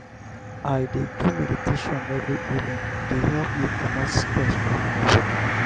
i dey do meditation every evening e dey help me comot stress from my bodi.